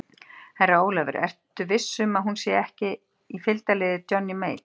Herra Jón Ólafur, ertu viss um að hún sé ekki í fylgdarliði Johnny Mate?